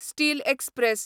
steel express